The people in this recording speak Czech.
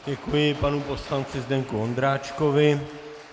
Děkuji panu poslanci Zdeňku Ondráčkovi.